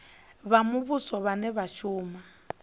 vha muvhuso vhane vha shuma